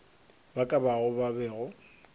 ba ka bao ba bego